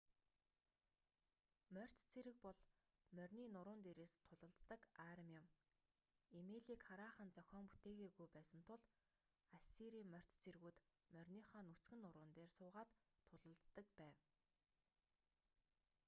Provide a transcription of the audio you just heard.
морьт цэрэг бол морины нуруун дээрээс тулалддаг арми юм эмээлийг хараахан зохион бүтээгээгүй байсан тул ассирийн морьт цэргүүд мориныхоо нүцгэн нуруун дээр суугаад тулалддаг байв